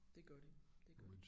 Det gør det det gør det